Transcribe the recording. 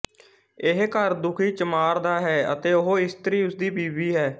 ਇਹ ਘਰ ਦੁਖੀ ਚਮਾਰ ਦਾ ਹੈ ਅਤੇ ਉਹ ਇਸਤਰੀ ਉਸਦੀ ਬੀਵੀ ਹੈ